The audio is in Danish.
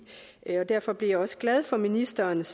derfor blev jeg også glad for ministerens